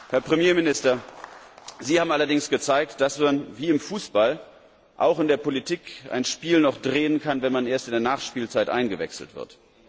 Herr Premierminister, Sie haben allerdings gezeigt, dass man wie im Fußball auch in der Politik ein Spiel noch drehen kann, wenn man erst in der Nachspielzeit eingewechselt wird.